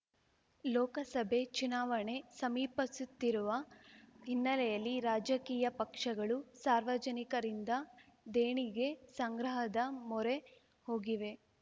ಲೋಕಸಭೆ ಚುನಾವಣೆ ಸಮೀಪಸುತ್ತಿರುವ ಹಿನ್ನೆಲೆಯಲ್ಲಿ ರಾಜಕೀಯ ಪಕ್ಷಗಳು ಸಾರ್ವಜನಿಕರಿಂದ ದೇಣಿಗೆ ಸಂಗ್ರಹದ ಮೊರೆ ಹೋಗಿವೆ